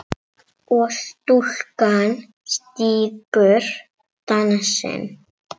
og stúlkan stígur dansinn